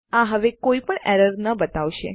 આ હવે કોઈપણ એરર ન બતાવશે